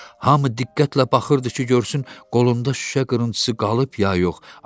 Hamı diqqətlə baxırdı ki, görsün qolunda şüşə qırıntısı qalıb ya yox.